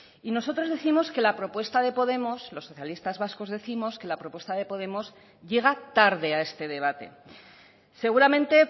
y nosotros décimos que la propuesta de podemos los socialistas vascos décimos que la propuesta de podemos llega tarde a este debate seguramente